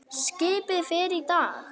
Skipið fer í dag.